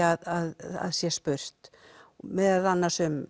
að sé spurt meðal annars um